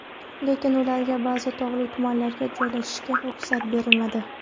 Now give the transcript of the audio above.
Lekin ularga ba’zi tog‘li tumanlarga joylashishga ruxsat berilmadi.